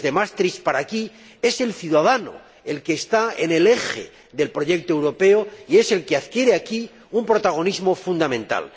Desde Maastricht para aquí, es el ciudadano el que está en el eje del proyecto europeo y es el que adquiere aquí un protagonismo fundamental.